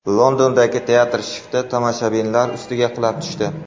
Londondagi teatr shifti tomoshabinlar ustiga qulab tushdi.